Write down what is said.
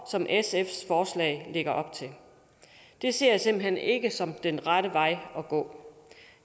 som sfs forslag lægger op til det ser jeg simpelt hen ikke som den rette vej at gå